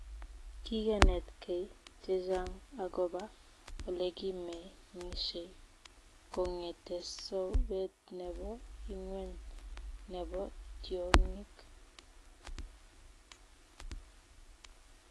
Kigenetkei chechang agoba olekimengishei kongete sobet nebo ingweny nebo tyongik